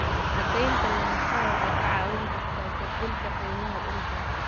Cadaynta lahaanshaha waxay kaa caawin kartaa kordhinta qiimaha dhulka.